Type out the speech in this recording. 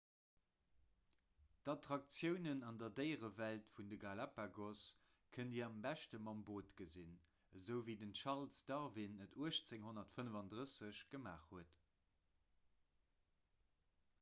d'attraktiounen an der déierewelt vun de galapagos kënnt dir am beschte mam boot gesinn esou wéi den charles darwin et 1835 gemaach huet